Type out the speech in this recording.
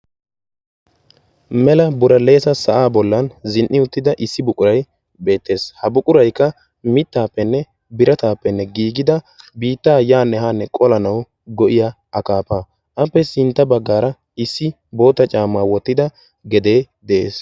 mela bulaleesa sa'aa bollan zin''i uttida issi buquray beettees ha buquraykka mittaappenne birataappenne giigida biittaa yaanne haanne qolanawu go'iya akaafa appe sintta baggaara issi boota caamaa wottida gedee de'ees